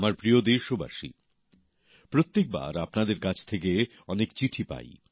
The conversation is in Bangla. আমার প্রিয় দেশবাসী প্রত্যেকবার আপনাদের কাছ থেকে অনেক চিঠি পাই